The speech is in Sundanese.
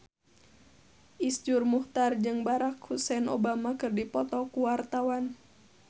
Iszur Muchtar jeung Barack Hussein Obama keur dipoto ku wartawan